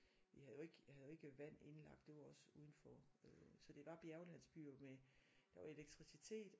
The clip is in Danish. Vi havde jo ikke jeg havde jo ikke vand indlagt det var også udenfor øh så det var bjerglandsbyer med der var elektricitet